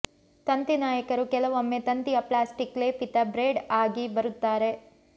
ತಂತಿ ನಾಯಕರು ಕೆಲವೊಮ್ಮೆ ತಂತಿಯ ಪ್ಲಾಸ್ಟಿಕ್ ಲೇಪಿತ ಬ್ರೇಡ್ ಆಗಿ ಬರುತ್ತಾರೆ